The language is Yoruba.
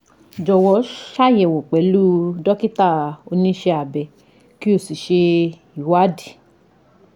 Jọ̀wọ́ ṣàyẹ̀wò pẹ̀lú dókítà oníṣẹ́ abẹ kí o sì ṣe ìwádìí